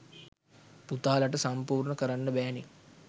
පුතාලට සම්පූර්ණ කරන්න බෑනේ.